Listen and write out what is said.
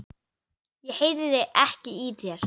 Ég heyri ekki í þér.